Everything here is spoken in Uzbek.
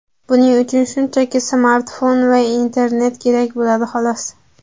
Buning uchun shunchaki smartfon va internet kerak bo‘ladi xolos.